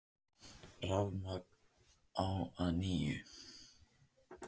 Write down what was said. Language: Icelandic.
Rafmagn á að nýju